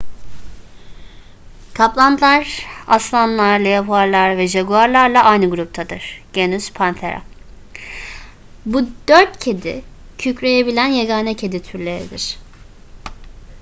kaplanlar; aslanlar leoparlar ve jaguarlarla aynı gruptadır genus panthera. bu dört kedi kükreyebilen yegane kedi türleridir